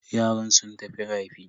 Yaran sun tafi rafi.